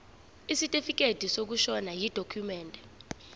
isitifikedi sokushona yidokhumende